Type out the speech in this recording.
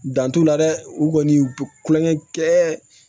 Dan t'u la dɛ u kɔni u bɛ kulonkɛ kɛ